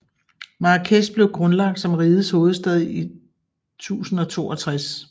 Marrakech blev grundlagt som rigets hovedstad i 1062